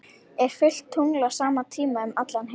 er fullt tungl á sama tíma um allan heim